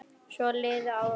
Svo liðu áramót.